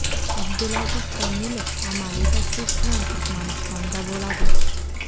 Abdulaziz Komilov amaliy tashrif bilan Turkmanistonda bo‘ladi.